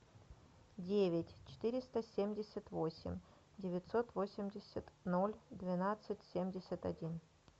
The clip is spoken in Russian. девять четыреста семьдесят восемь девятьсот восемьдесят ноль двенадцать семьдесят один